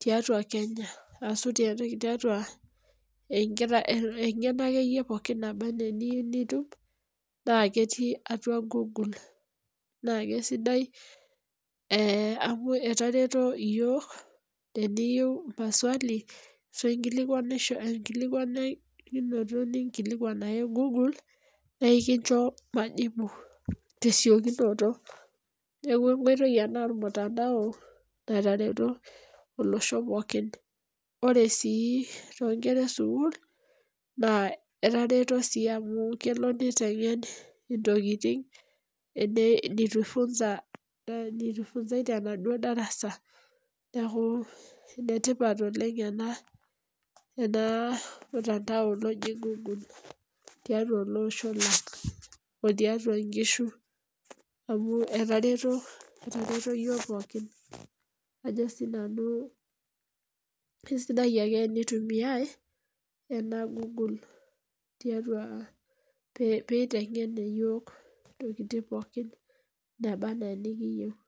tiatua Kenya ashu tiatua eng'eno pooki ake iyie eniyou nitum, naa ketii atua google. Naake sidai amu ketareto iyiok, teniyou maswali ashu iyou ninkilikwanishore ninkilikwan ake google, naa kincho majibu tesiokinoto. Neaku enkoitoi ena olmutandao natareto olosho pookin. Ore sii toonkera e sukuul, naa elo ii neiteng'en intokitin neitu eifunzai tenaduo darasa. Neaku enetipat oleng' ena mutandao loji google tiatua olosho lang' , o tiatua inkishu, amu etareto iyiok pookin. Ajo sii nanu eisidai eke eneitumiai ena google tiatua peiteng'en iyiok intokitin pook nabaa ana enekiyou.